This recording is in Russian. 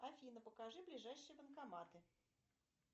афина покажи ближайшие банкоматы